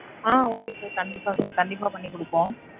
ஆஹ் okay sir கண்டிப்பா sir. கண்டிப்பா பண்ணி கொடுப்போம்.